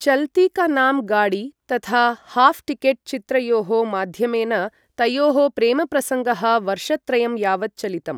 चलती का नाम गाडी तथा half ticket चित्रयोः माध्यमेन तयोः प्रेमप्रसङ्गः वर्षत्रयं यावत् चलितम्।